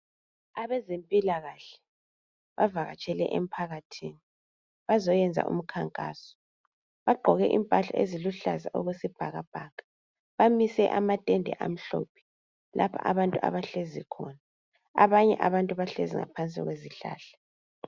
Abezempilakahle bavakatahele emphakathini bazoyenza umkhankaso bagqoke impahla eziluhlaza okwesibhakabhaka bamise amatende amhlophe lapha abantu abahlezi khona abanye abantu bahlezi ngaphansi kwesihlahla.